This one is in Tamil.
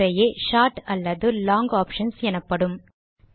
இவை முறையே ஷார்ட் அல்லது லாங் ஆப்ஷன்ஸ் எனப்படும்